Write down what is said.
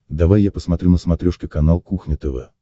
давай я посмотрю на смотрешке канал кухня тв